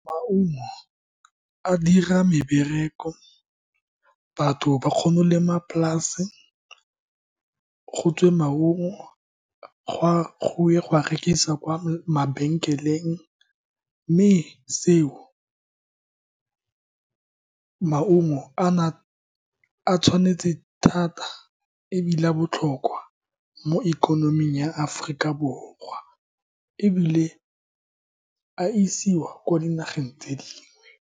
Maungo a dira mebereko, batho ba kgona go lema polase, gotswe maungo go e go a rekisa kwa mabenkeleng, mme seo maungo ana a tshwanetse thata ebile a botlhokwa mo ikonoming ya Aforika Borwa, ebile a isiwa ko dinageng tse dingwe.